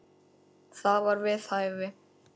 Það var við hæfi.